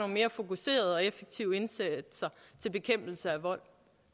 mere fokuserede og effektive indsatser til bekæmpelse af vold